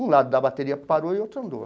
Um lado da bateria parou e o outro andou.